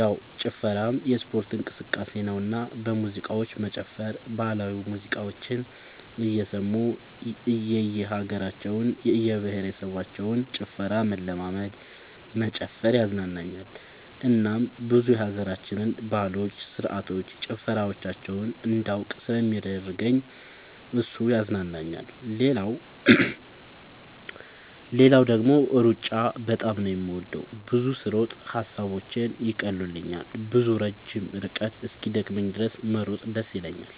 ያው ጭፈራም የስፖርት እንቅስቃሴ ነውና በሙዚቃዎች መጨፈር ባህላዊ ሙዚቃዎችን እየሰሙ የእየሀገራቸውን የእየብሄረሰቦችን ጭፈራ መለማመድ መጨፈር ያዝናናኛል እናም ብዙ የሀገራችንን ባህሎች ስርዓቶች ጭፈራዎቻቸውን እንዳውቅ ስለሚያደርገኝ እሱ ያዝናናኛል። ሌላው ደግሞ ሩጫ በጣም ነው የምወደው። ብዙ ስሮጥ ሐሳቦቼን ይቀሉልኛል። ብዙ ረጅም ርቀት እስኪደክመኝ ድረስ መሮጥ ደስ ይለኛል።